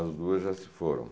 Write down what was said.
As duas já se foram.